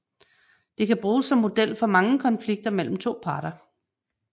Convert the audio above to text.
Det kan bruges som model for mange konflikter mellem to parter